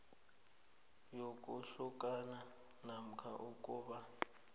yokuhlukana namkha ukuba